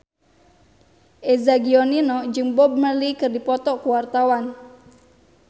Eza Gionino jeung Bob Marley keur dipoto ku wartawan